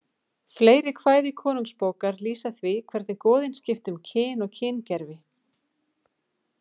Fleiri kvæði Konungsbókar lýsa því hvernig goðin skipta um kyn og kyngervi.